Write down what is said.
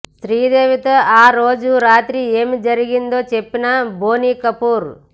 శ్రీదేవితో ఆ రోజు రాత్రి ఏం జరిగిందో చెప్పిన బోనీకపూర్